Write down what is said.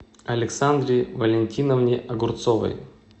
александре валентиновне огурцовой